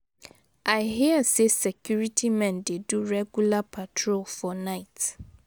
I hear say the security men dey do regular patrol for night.